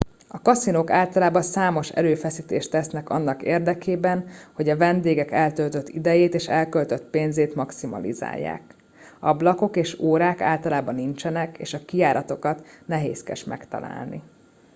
a kaszinók általában számos erőfeszítést tesznek annak érdekében hogy a vendégek eltöltött idejét és elköltött pénzét maximalizálják ablakok és órák általában nincsenek és a kijáratokat nehézkes megtalálni